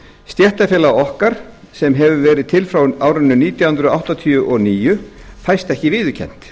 stéttarfélag okkar sem hefur verið til frá árinu nítján hundruð áttatíu og níu fæst ekki viðurkennt